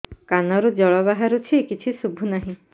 କାନରୁ ଜଳ ବାହାରୁଛି କିଛି ଶୁଭୁ ନାହିଁ